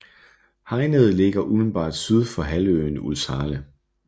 Hegnede ligger umiddelbart syd for halvøen Ulvshale